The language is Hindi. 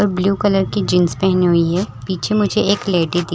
ब्लू कलर की जींस पहनी हुई है पीछे मुझे एक लेडी --